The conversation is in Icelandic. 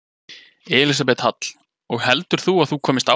Elísabet Hall: Og heldur þú að þú komist áfram?